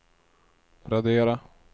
radera